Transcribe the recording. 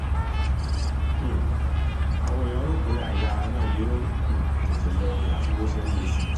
um àwọn èèyàn rò pé àìyáára náà yóò um tètè lọ ni àfi bó se ń le sí i